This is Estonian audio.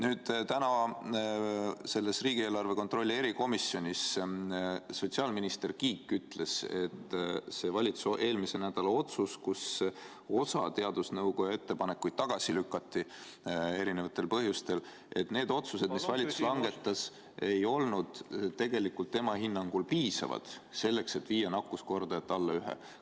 Sotsiaalminister Kiik ütles täna riigieelarve kontrolli erikomisjonis, et kui valitsus eelmisel nädalal osa teadusnõukoja ettepanekuid eri põhjustel tagasi lükkas, siis tema hinnangul tähendas see seda, et valitsuse langetatud otsused ei olnud tegelikult piisavad, et nakkuskordaja alla ühe viia.